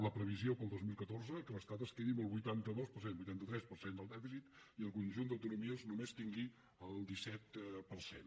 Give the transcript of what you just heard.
la previsió per al dos mil catorze és que l’estat es quedi amb el vuitanta tres per cent del dèficit i el conjunt d’autonomies només tingui el disset per cent